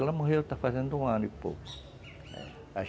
Ela morreu está fazendo um ano e pouco.